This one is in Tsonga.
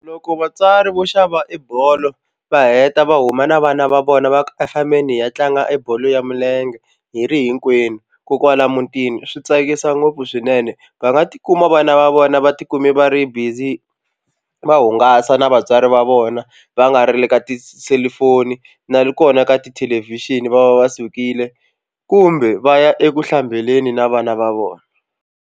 Loko vatswari vo xava i bolo va heta va huma na vana va vona va ku a hi fambeni hi ya tlanga e bolo ya milenge hi ri hinkwenu ko kwala mutini swi tsakisa ngopfu swinene va nga tikuma vana va vona va tikume va ri busy va hungasa na vatswari va vona va nga ri le ka tiselufoni na kona ka tithelevhixini va va va sukile kumbe va ya eku hlambeni na vana va vona.